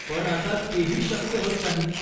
पण आता तेही शक्य होत नाही.